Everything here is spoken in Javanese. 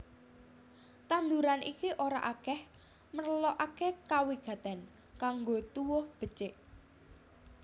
Tanduran iki ora akèh merlokaké kawigatèn kanggo tuwuh becik